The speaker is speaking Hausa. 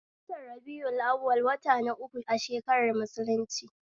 A watan rabi'u awwal wata na uku a shakarar musulunci